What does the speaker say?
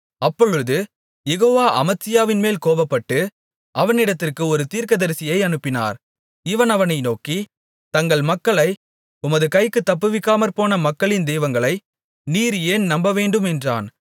அப்பொழுது யெகோவா அமத்சியாவின்மேல் கோபப்பட்டு அவனிடத்திற்கு ஒரு தீர்க்கதரிசியை அனுப்பினார் இவன் அவனை நோக்கி தங்கள் மக்களை உமது கைக்குத் தப்புவிக்காமற்போன மக்களின் தெய்வங்களை நீர் ஏன் நம்பவேண்டும் என்றான்